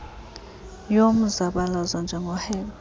yomzabalazo njengoo hector